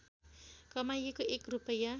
कमाइएको एक रूपैयाँ